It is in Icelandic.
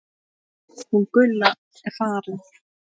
Hún Gulla er farin